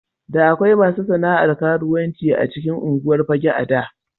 Da akwai masu sana'ar karuwanci a cikin unguwar Fagge a da.